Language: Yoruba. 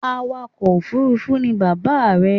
Awakọ̀ òfurufú ni bàbá rẹ̀